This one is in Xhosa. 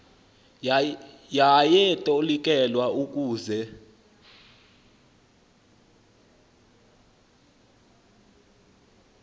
yaye itolikelwa ukuze